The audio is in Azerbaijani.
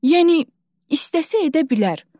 Yəni istəsə edə bilər.